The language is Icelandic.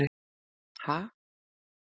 Ha?